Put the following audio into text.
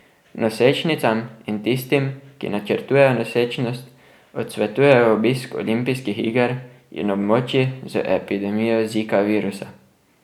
Nosečnicam in tistim, ki načrtujejo nosečnost, odsvetujejo obisk olimpijskih iger in območij z epidemijo zika virusa.